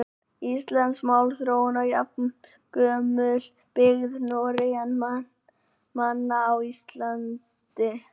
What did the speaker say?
Íslensk málþróun er jafngömul byggð norrænna manna á Íslandi.